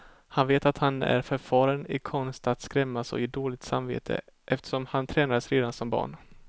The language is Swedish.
Han vet att han är förfaren i konsten att skrämmas och ge dåligt samvete, eftersom han tränades redan som barn.